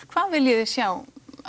hvað viljiði sjá